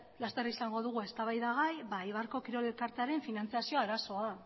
laster izango dugu eztabaida gai eibarko kirol elkartearen finantzazio arazoa